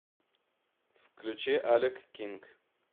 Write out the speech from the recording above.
включи алек кинг